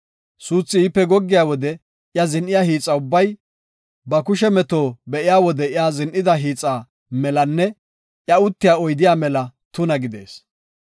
Suuthi iipe goggiya wode iya zin7iya hiixa ubbay, ba kushe meto be7iya wode iya zin7ida hiixa melanne iya uttiya oydiya mela tuna gidees.